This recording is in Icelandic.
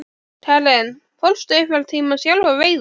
Karen: Fórstu einhvern tímann sjálf að veiða?